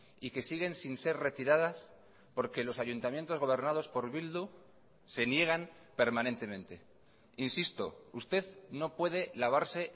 y que siguen sin ser retiradas porque los ayuntamientos gobernados por bildu se niegan permanentemente insisto usted no puede lavarse